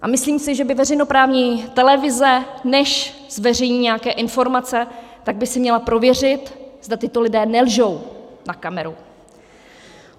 A myslím si, že by veřejnoprávní televize, než zveřejní nějaké informace, tak by si měla prověřit, zda tito lidé nelžou na kameru.